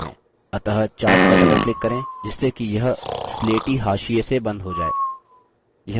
अतः chart पर doubleclick करें जिससे कि यह स्लेटी हाशिये से बंद हो जाय